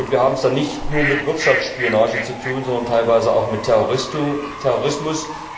Wir haben es dann nicht nur mit Wirtschaftsspionage zu tun, sondern teilweise auch mit Terrorismus.